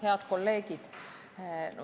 Head kolleegid!